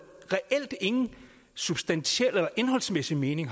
reelt ingen substantiel eller indholdsmæssig mening